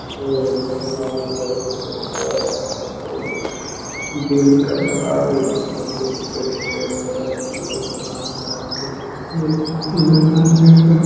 इ जयमाल वाला स्टेज बा एकरा पर इ दिल का बनाएल हेय दू गो दिल के स्टेज बड़ा सुंदर बनाएल हेय आर्टिफिशियल फूल लगा --